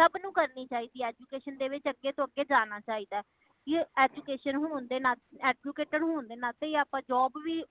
ਸਬ ਨੂੰ ਕਰਨੀ ਚਾਹੀਦੀ ਹੈ education ਦੇ ਵਿਚ ਅਗੇ ਤੋਂ ਅੱਗੇ ਜਾਣਾ ਚਾਹੀਦਾ education ਹੋਣ ਦੇ ਨਾਤੇ ,educated ਹੋਣ ਦੇ ਨਾਤੇ ਆਪਾ job ਵੀ